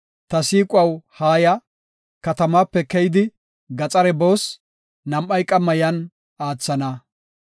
Ta siiquwaw, haaya; katamaape keyidi gaxare boos; nam7ay qamma yan aathana.